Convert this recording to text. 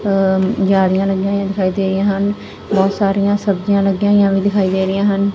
ਜਾਲੀਆਂ ਲੱਗੀਆਂ ਹੋਈਆਂ ਦਿਖਾਈ ਦੇ ਰਹੀਆਂ ਹਨ ਬਹੁਤ ਸਾਰੀਆਂ ਸਬਜ਼ੀਆਂ ਲੱਗੀਆਂ ਹੋਈਆਂ ਵੀ ਦਿਖਾਈ ਦੇ ਰਹੀਆਂ ਹਨ।